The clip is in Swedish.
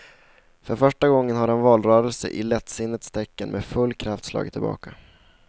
För första gången har en valrörelse i lättsinnets tecken med full kraft slagit tillbaka.